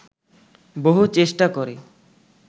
বহু চেষ্টা করে